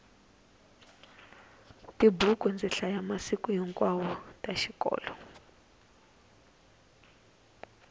tibuku ndzi hlaya masiku hinkwawo ta xikolo